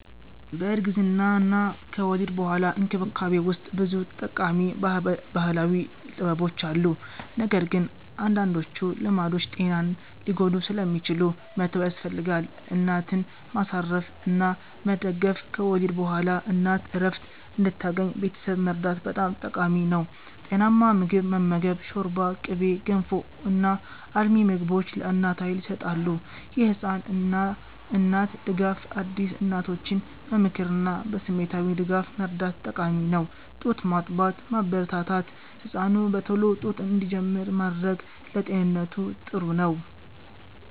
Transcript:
በእርግዝናና ከወሊድ በኋላ እንክብካቤ ውስጥ ብዙ ጠቃሚ ባህላዊ ጥበቦች አሉ፣ ነገር ግን አንዳንዶቹ ልማዶች ጤናን ሊጎዱ ስለሚችሉ መተው ያስፈልጋል። እናትን ማሳረፍ እና መደገፍ – ከወሊድ በኋላ እናት እረፍት እንድታገኝ ቤተሰብ መርዳት በጣም ጠቃሚ ነው። ጤናማ ምግብ መመገብ – ሾርባ፣ ቅቤ፣ ገንፎ እና አልሚ ምግቦች ለእናት ኃይል ይሰጣሉ። የህፃን እና እናት ድጋፍ – አዲስ እናቶችን በምክርና በስሜታዊ ድጋፍ መርዳት ጠቃሚ ነው። ጡት ማጥባትን ማበረታታት – ህፃኑ በቶሎ ጡት እንዲጀምር ማድረግ ለጤንነቱ ጥሩ ነው።